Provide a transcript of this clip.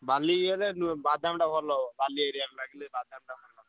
ବାଲି ଇଏ ରେ ବାଦାମଟା ଭଲ ହେବ। ବାଲି area ମାଟିରେ ବାଦାମ ଭଲ ହେବ।